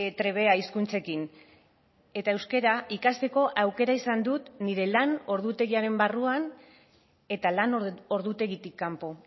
trebea hizkuntzekin eta euskara ikasteko aukera izan dut nire lan ordutegiaren barruan eta lan ordutegitik kanpo